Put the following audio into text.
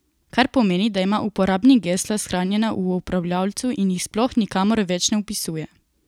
Kar pomeni, da ima uporabnik gesla shranjena v upravljavcu in jih sploh nikamor več na vpisuje.